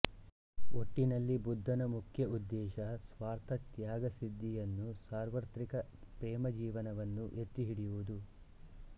ಒಟ್ಟಿನಲ್ಲಿ ಬುದ್ಧನ ಮುಖ್ಯ ಉದ್ದೇಶ ಸ್ವಾರ್ಥತ್ಯಾಗಸಿದ್ಧಿಯನ್ನೂ ಸಾರ್ವತ್ರಿಕ ಪ್ರೇಮಜೀವನವನ್ನೂ ಎತ್ತಿಹಿಡಿಯುವುದು